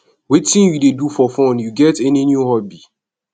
wetin you dey do for fun you get any new hobby